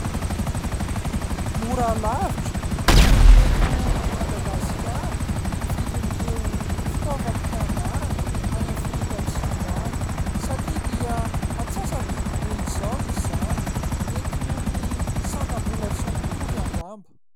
Mora lavitra noho ny eto Madagasikara, ny vidin'ireo fitaovam-pianarana any Afrika atsimo any satria dia antsasa-bidy be izao izany. Mety noho ny sandam-bola tsy mitovy angamba.